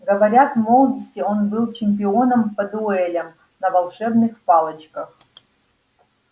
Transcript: говорят в молодости он был чемпионом по дуэлям на волшебных палочках